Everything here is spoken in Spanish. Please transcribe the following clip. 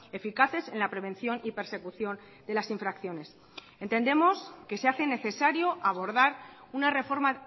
eficaces en la prevención y persecución de las infracciones entendemos que se hace necesario abordar una reforma